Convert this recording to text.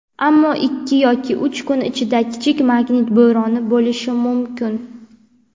ammo ikki yoki uch kun ichida kichik magnit bo‘roni bo‘lishi mumkin.